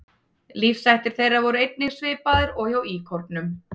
Lífshættir þeirra voru einnig svipaðir og hjá íkornum.